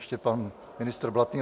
Ještě pan ministr Blatný.